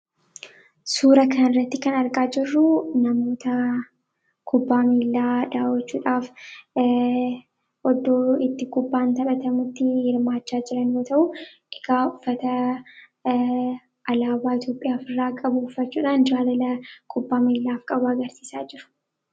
Suuraa kana irratti kan argaa jirru namoota kubbaa miillaa daawwachuudhaaf ooddo itti kubbaan taphatamutti hirmaachaa jiran ta'uu. Egaa ufata alaabaa Itoophiyaaf irraa qabu ufachuudhaan jaalala kubbaa miillaaf qaba agarsiisaa jiru.